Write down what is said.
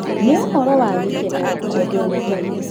Nĩ ũhoro wa gĩkeno kwendwo nĩ Ngai.